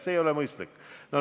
See ei ole mõistlik.